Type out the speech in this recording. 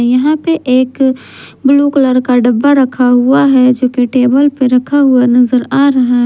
यहां पे एक ब्लू कलर का डब्बा रखा हुआ है जोकि टेबल पे रखा हुआ नजर आ रहा है।